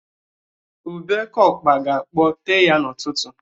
Ubé oke ọkpa ga-akpọ tee ya n'ụtụtụ